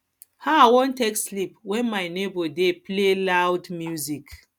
how i wan take sleep wen my nebor dey play loud music